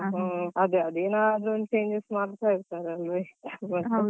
ಒಹ್ ಅದೇ ಏನಾದ್ರು ಒಂದ್ changes ಮಾಡ್ತಾ ಇಡ್ತಾರಲ್ಲವಾ.